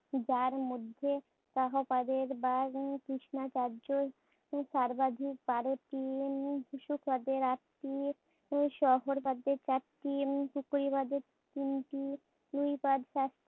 যার মধ্যে সাহপাদের কৃষ্ণাচার্যে সর্বাধিক বারোটি, উম বিষ্ণুপদের আটটি, সবরপাদের চারটি, উম তিনটি,